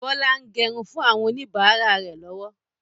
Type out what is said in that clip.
Bọlá ń gẹrun fún àwọn oníbàárà rẹ lọ́wọ́